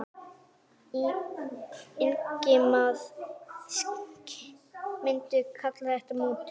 Ingimar: Myndirðu kalla þetta mútur?